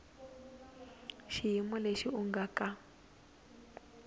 xiyimo lexi u nga ka